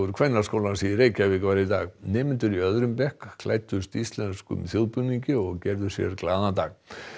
Kvennaskólans í Reykjavík var í dag nemendur í öðrum bekk klæddust íslenskum þjóðbúningi og gerðu sér glaðan dag